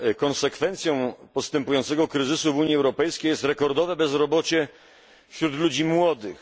Konsekwencją postępującego kryzysu w Unii Europejskiej jest rekordowe bezrobocie wśród ludzi młodych.